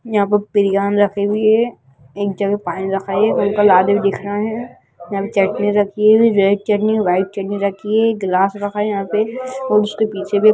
यहां पे बिरयानी रखी हुई हैएक जग पानी रखा है ऊपर आदमी आते हुए दिख रहे है यहां पे चटनी रखी है रेड चटनी व्हाइट चटनी रखी है एक ग्लास है यहां पे रखा और उसके पीछे भी--